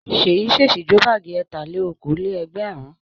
Ṣèyí ṣèṣì jó báágì ẹ̀tà-lé-okòó-lé-ẹgbẹ̀rún.